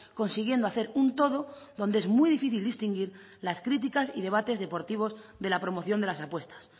consiguiendo hacer un todo donde es muy difícil distinguir las críticas y debates deportivos de la promoción de las apuestas